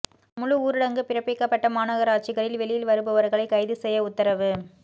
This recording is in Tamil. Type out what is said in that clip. முழு ஊரடங்கு பிறப்பிக்கப்பட்ட மாநகராட்சிகளில் வெளியில் வருபவர்களை கைது செய்ய உத்தரவு